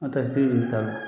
An taa